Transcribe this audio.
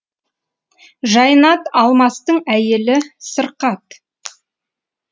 жайнат алмастың әйелі сырқат